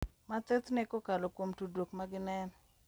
Mathothne kokalo kuom tudruok ma gineno .